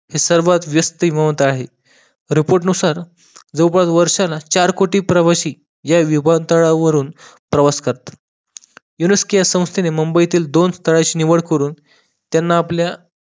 हे सर्वात व्यस्त आहे report नुसार जवळपास वर्षाला चार कोटी प्रवाशी या विमान तळावरून प्रवास करतात UNESCO या संस्थेने मुंबईतील दोन स्थळाची निवळ करून त्यांना आपल्या